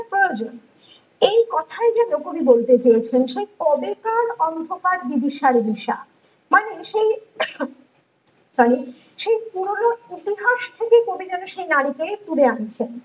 প্রয়োজন, এই কথাই যেন কবি বলতে চেয়েছেন সেই কবেকার অন্ধকার বিভিসার নেশা মানে সেই মানে সেই পুরোনো ইতিহাস থেকে কবি যেন সেই নারী কে তুলে আনছেন